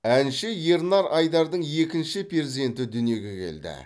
әнші ернар айдардың екінші перзенті дүниеге келді